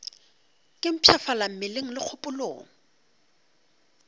ke mpshafala mmeleng le kgopolong